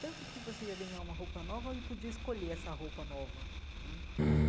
Tanto que você ia ganhar uma roupa nova e podia escolher essa roupa nova né.